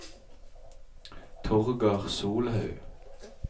Torger Solhaug